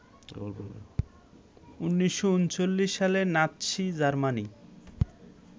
১৯৩৯ সালে Nazi Germany